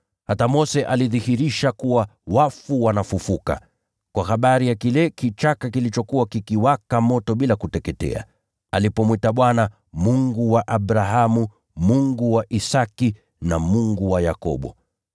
Hata Mose alidhihirisha kuwa wafu wanafufuka, kwa habari ya kile kichaka kilichokuwa kikiwaka moto bila kuteketea, alipomwita Bwana, ‘Mungu wa Abrahamu, Mungu wa Isaki, na Mungu wa Yakobo.’